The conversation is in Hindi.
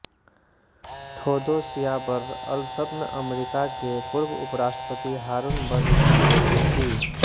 ठोदोसिया बर्र अलसत्न अमरीका के पूर्व उप राष्ट्रपति हारून बर्र की बेटी थी